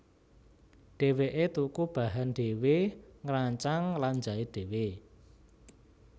Dheweke tuku bahan dhéwé ngrancang lan jait dhéwé